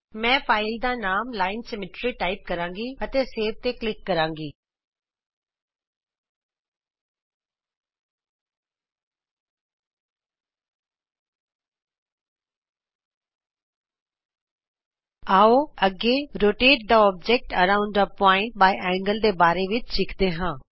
ਮੈੰ file ਦਾ ਨਾਮ line symmetry type ਕਰਾਂਗੀ ਅਤੇ ਸੇਵ ਤੇ ਕਲਿਕ ਕਰਾਂਗੀ ਅੱਗੇ ਆਉ rotate object around point by angle rotate the object around a point by angle ਦੇ ਬਾਰੇ ਵਿਚ ਸਿੱਖਦੇ ਹਾਂ